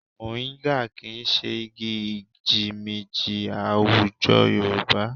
Mọ̀ríńgà kì í ṣe igi ìjímìjí àwùjọ Yorùbá